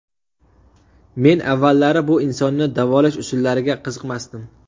Men avvallari bu insonni davolash usullariga qiziqmasdim.